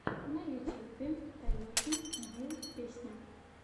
на ютьюбе таежник гил песня